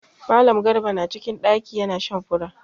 Mallam garba na cikin ɗaki ya na shan fura.